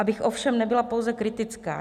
Abych ovšem nebyla pouze kritická.